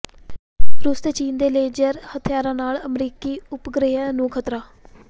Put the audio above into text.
ਰੂਸ ਤੇ ਚੀਨ ਦੇ ਲੇਜ਼ਰ ਹਥਿਆਰਾਂ ਨਾਲ ਅਮਰੀਕੀ ਉਪਗ੍ਰਹਿਆਂ ਨੂੰ ਖ਼ਤਰਾ